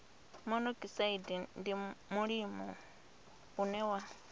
monokosaidi ndi mulimo une wa